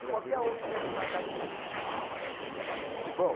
brasileiro. Qual que é um que tenha te marcado muito. Bom